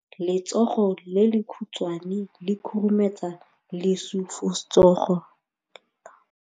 Letsogo le lekhutshwane le khurumetsa lesufutsogo la gago.